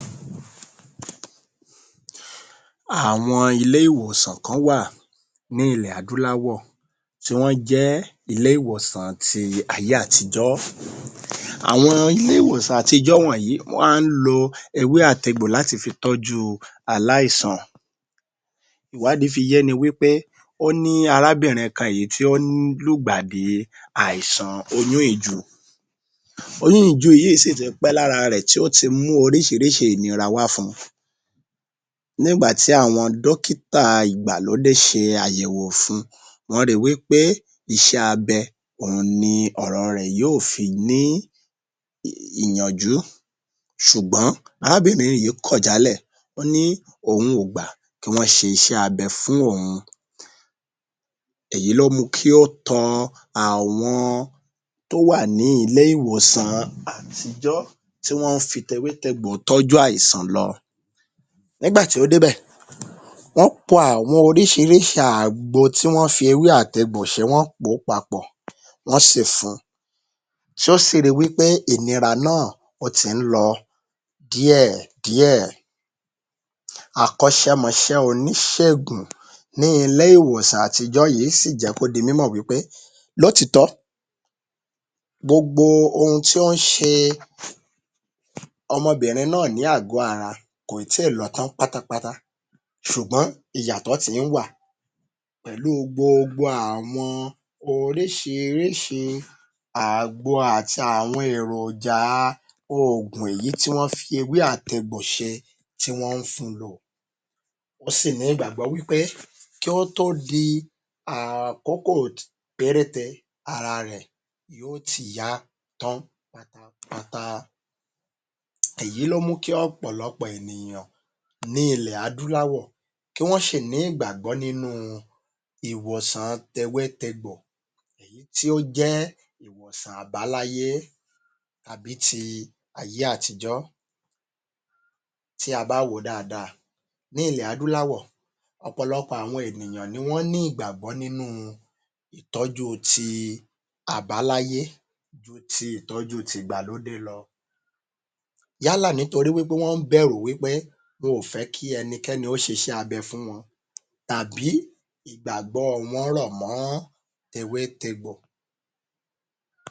Àwọn ilé ìwòsàn kán wà ní ilẹ̀ adúláwọ̀ tí wọ́n jẹ́ ilé ìwòsàn ti ayé àtijọ́. Àwọn ilé ìwòsàn àtijọ́ wọ̀nyí ma ń lo ewé àt’egbò láti fi tọ́jú u aláìsàn. Ìwádìí fi yéni wí pé óní arábìnrin kan yìí tí ó lùgbàdì àìsàn oyún ìju. Oyún ìju yìí sì ti pẹ́ lára rẹ̀ tí ó ti mú oríṣiríṣi ìnira wá fun ní ìgbà tí àwọn dọ́kítà ìgbàlódé ṣe àyẹ̀wò fun wọ́n ri wí pé iṣẹ́ abẹ ni ọ̀rọ̀ rẹ̀ yóò fi ní ìyànjú ṣùgbọ́n arábìnri nyìí kọ̀ jálẹ̀ pé òun ò gbà kí wọ́n ṣiṣẹ́ abẹ fún òun. Èyí ló mu kí ó tọ àwọn tó wà ní ilé ìwòsàn àtijọ́ tí wọ́n ń fi tewé tegbò ìtọ́jú àìsàn lọ nígbà tí ó débẹ̀ wọ́n p àwọn oríṣiríṣi àwọn àgbo tí wọ́n fi tewé àte’gbò ṣe wọ́n pò ó papọ̀ wọ́n sì fun tí ó sì ri wí pé ìnira náà ó ti ń lọ díẹ̀ díẹ̀. Akọ́ṣẹmọṣẹ́ oníṣègùn ní ilé ìwòsàn àtijọ́ yìí sì jẹ́ kó di mímọ̀ wí pé lótitọ́ gbogbo ohun tí ó ń ṣe ọmọbìnrin náà ní àgó ara kò ì tíì lọ tán pátápátá ṣùgbọ́n ìyàtọ̀ ti ń wà pẹ̀lú gbogbo àwọn àgbo oríṣiríṣi àgbo àti àwọn èròjà a oògun èyí tí wọ́n fi ewé àte’gbò ṣe tí wọ́n ń fun lò, ó sì nígbàgbọ́ wí pé kí ó tó di àkókò péréte ara rẹ̀ yóò ti yá tán pátápátá. Èyí ló mú kí ọ̀pọ̀lọpọ̀ ènìyàn ní ilẹ̀ adúláwọ̀ kí wọ́n ṣì ní ìgbàgbọ́ nínú u ìwòsàn tewé tegbò eyí tí ó jẹ́ ìwòsàn àbáláyé tàbí ti ayé àtijọ́. Tí a bá wò ó dáadáa ní ilè adúláwọ̀ ọ̀pọ̀lọpọ̀ àwọn ènìyàn ni wọ́n ní ìgbàgbọ́ nínú u ìtọ́jú u ti àbáláyé ju ti ìtọ́jú tì’gbàlódé lọ yálà nítorí wí pé wọ́n ń bẹ̀rù wí pé wọn o fẹ́ kí ẹnikẹ́ni ó ṣiṣẹ́ abẹ fún wọn tàbí kí ìgbàgbọ́ wọn rọ̀ mọ́ tewé tegbò.